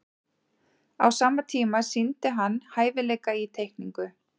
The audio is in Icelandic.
á sama tíma sýndi hann hæfileika í teikningu